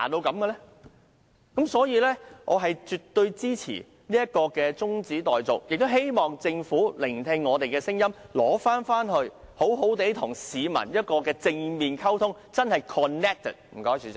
基於這些理由，我絕對支持中止待續的議案，亦希望政府聆聽我們的聲音，把方案收回，並且好好與市民正面溝通，做到真正的 connected。